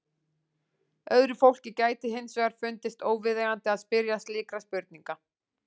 Öðru fólki gæti hins vegar fundist óviðeigandi að spyrja slíkra spurninga.